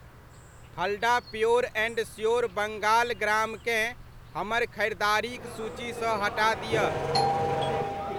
Phalada pure and sure Bengal gram केँ, हमर खरीदारिक सूचीसँ हटा दिअ।